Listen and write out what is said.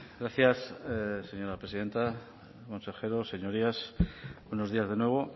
gracias señora presidenta consejeros señorías buenos días de nuevo